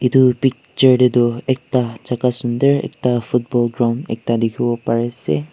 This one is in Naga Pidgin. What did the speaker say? Etu picture te toh ekta jaka sundor ekta football ground ekta dekhibo pari ase.